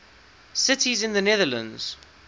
cities in the netherlands